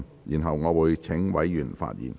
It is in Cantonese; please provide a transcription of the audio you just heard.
然後，我會請委員發言。